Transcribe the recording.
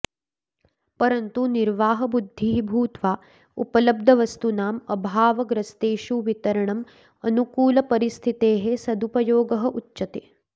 परन्तु निर्वाहबुद्धिः भूत्वा उपलब्धवस्तूनाम् अभावग्रस्तेषु वितरणं अनुकूलपरिस्थितेः सदुपयोगः उच्यते